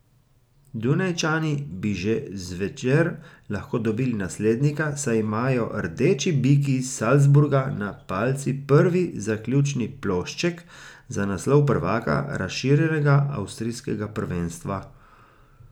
Dunajčani bi že zvečer lahko dobili naslednika, saj imajo rdeči biki iz Salzburga na palici prvi zaključni plošček za naslov prvaka razširjenega avstrijskega prvenstva.